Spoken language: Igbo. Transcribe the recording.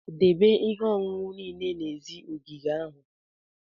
Debe ihe ọṅụṅụ niile n'èzí ogige ahụ!